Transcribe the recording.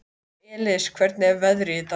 Elis, hvernig er veðrið í dag?